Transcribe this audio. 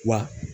Wa